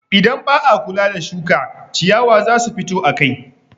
Idan ba a kula da shuka, ciyawa za su fito akai.